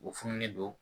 U fununen don